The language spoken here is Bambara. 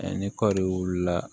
ni kɔɔri la